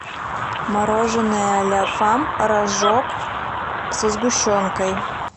мороженое ля фам рожок со сгущенкой